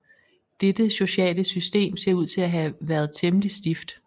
Dette sociale system ser ud til at have været temmelig stift